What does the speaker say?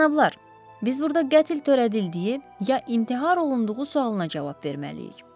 Cənablar, biz burada qətl törədildiyi ya intihar olunduğu sualına cavab verməliyik.